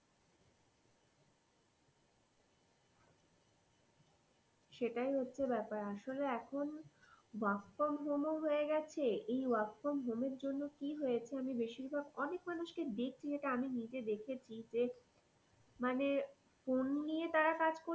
সেইটাই হচ্ছে ব্যাপার আসলে এখন work from home ও হয়েগেছে এই work from home এর জন্যে কি হয়েছে আমি বেশিরভাগ অনেক মানুষ ক দেখছি যেইটা আমি নিজে দেখেছি যে মানে phone নিয়ে তারা কাজ করছে।